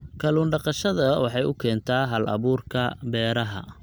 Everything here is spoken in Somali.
Kallun daqashada waxay u keentaa hal-abuurka beeraha.